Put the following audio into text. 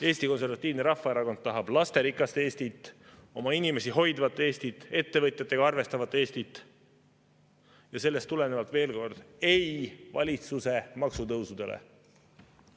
Eesti Konservatiivne Rahvaerakond tahab lasterikast Eestit, oma inimesi hoidvat Eestit, ettevõtjatega arvestavat Eestit ja sellest tulenevalt, veel kord, ei valitsuse maksutõusudele!